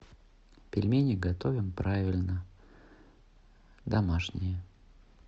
пельмени готовим правильно домашние